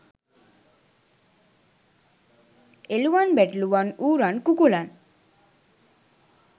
එළුවන් බැටළුවන් ඌරන් කුකුලන්